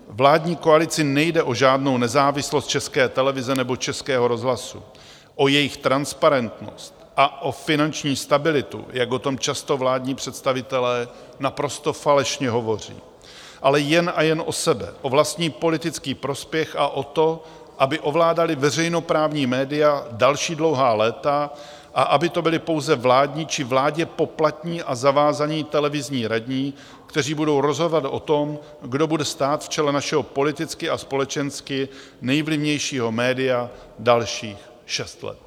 Vládní koalici nejde o žádnou nezávislost České televize nebo Českého rozhlasu, o jejich transparentnost a o finanční stabilitu, jak o tom často vládní představitelé naprosto falešně hovoří, ale jen a jen o sebe, o vlastní politický prospěch a o to, aby ovládali veřejnoprávní média další dlouhá léta a aby to byli pouze vládní či vládě poplatní a zavázaní televizní radní, kteří budou rozhodovat o tom, kdo bude stát v čele našeho politicky a společensky nejvlivnějšího média dalších šest let.